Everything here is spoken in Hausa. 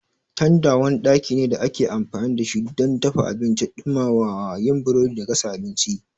Tanda wani ɗaki ne da ake amfani da shi don dafa abinci, ɗumamawa, yin burodi da gasa abinci.